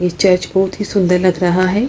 ये चर्च बहुत ही सुंदर लग रहा है।